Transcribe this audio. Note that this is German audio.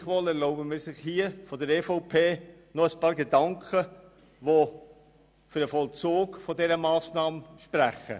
Gleichwohl erlauben wir uns, aus Sicht der EVP ein paar Gedanken zu äussern, die für den Vollzug dieser Massnahme sprechen.